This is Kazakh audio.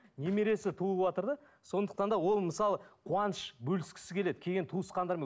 немересі туыватыр да сондықтан да ол мысалы қуаныш бөліскісі келеді келген туысқандармен